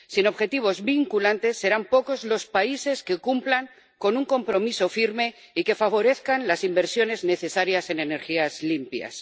Sin objetivos vinculantes serán pocos los países que cumplan con un compromiso firme y que favorezcan las inversiones necesarias en energías limpias.